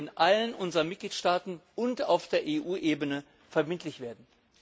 Sie soll in allen unseren Mitgliedstaaten und auf der EU Ebene verbindlich werden.